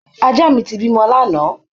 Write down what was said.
Ajá mi ti bímọ lánàá